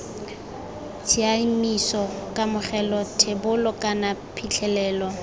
tshiaimiso kamogelo thebolo kana phitlhelelo